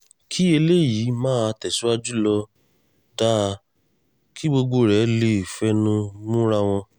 kí eléyìí máa tẹ̀síwájú ló dáa kí gbogbo rẹ̀ lè fẹnu múra wọn